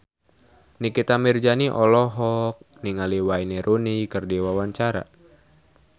Nikita Mirzani olohok ningali Wayne Rooney keur diwawancara